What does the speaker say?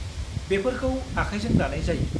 बेफोरखौ आखायजों दानाय जायो।